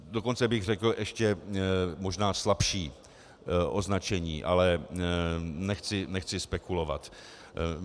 Dokonce bych řekl ještě možná slabší označení, ale nechci spekulovat.